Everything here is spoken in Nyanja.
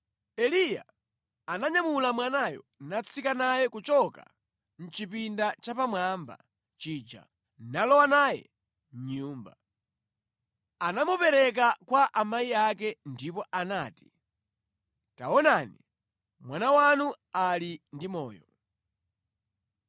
Eliya ananyamula mwanayo natsika naye kuchoka mʼchipinda chapamwamba chija nalowa naye mʼnyumba. Anamupereka kwa amayi ake ndipo anati, “Taonani, mwana wanu ali ndi moyo!”